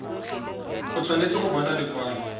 o tshwanetse go bona lekwalo